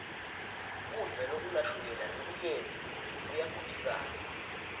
kudla lokunashukela lomunyenti koyagulisana